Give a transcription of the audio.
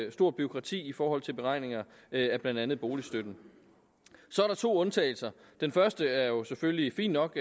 et stort bureaukrati i forhold til beregninger af blandt andet boligstøtten så er der to undtagelser den første er jo selvfølgelig fin nok